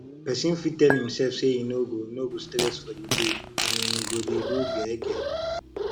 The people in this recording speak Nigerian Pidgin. persin fit tell imself say im no go no go stress for di day and im go de do gege